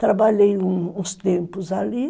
Trabalhei uns tempos ali.